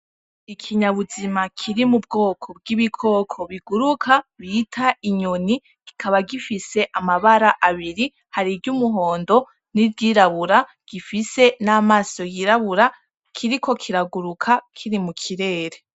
Ikinyabuzima kiri mu bwoko bw'ibikoko biguruka bita inyoni kikaba gifise amabara abiri, hari iry'umuhondo n'iryirabura gifise n'amaso yirabura kiriko kiraguruka kiri mu kirere.